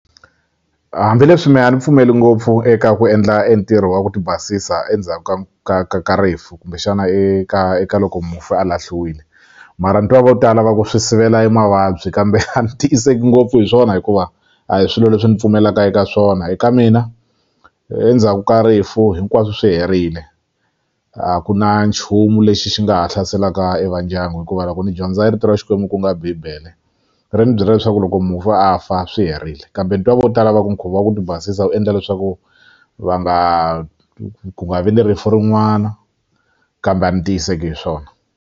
Hambileswi me a ni pfumeli ngopfu eka ku endla e ntirho wa ku ti basisa endzhaka ka ka ka rifu kumbexana eka eka loko mufi a lahliwile mara ni twa vo tala va ku swi sivela e mavabyi kambe a ndzi tiyiseki ngopfu hi swona hikuva a hi swilo leswi ni pfumelaka eka swona eka mina endzhaku ka rifu hinkwaswo swi herile a ku na nchumu lexi xi nga ha hlaselaka e va ndyangu hikuva loko ni dyondza e rito ra xikwembu ku nga bibele ri ni byela leswaku loko mufi a fa swi herile kambe ni twa vo tala va ku nkhuvo wa ku ti basisa wu endla leswaku va nga ku nga vi ni rifu rin'wana kambe a ni tiyiseki hi swona.